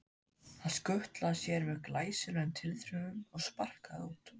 Hann skutlaði sér með glæsilegum tilþrifum og sparkaði út.